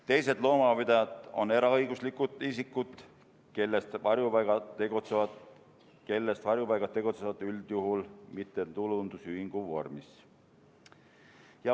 Teised loomapidajad on eraõiguslikud isikud, varjupaigad tegutsevad üldjuhul mittetulundusühingu vormis.